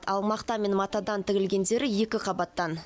ал мақта мен матадан тігілгендері екі қабаттан